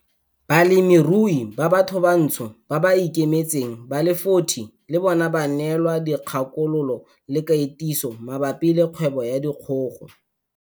Balemirui ba bathobantsho ba ba ikemetseng ba le 40 le bona ba neelwa dikgakololo le katiso mabapi le kgwebo ya dikgogo.